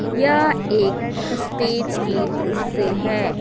यह एक स्टेज की दृश्य है।